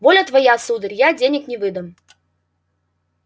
воля твоя сударь я денег я не выдам